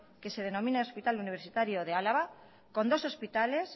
que se denomina hospital universitario de álava con dos hospitales